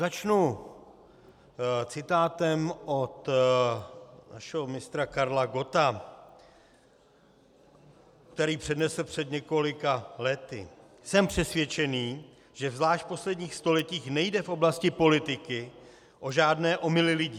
Začnu citátem od našeho mistra Karla Gotta, který přednesl před několika lety: "Jsem přesvědčen, že zvlášť v posledních stoletích nejde v oblasti politiky o žádné omyly lidí.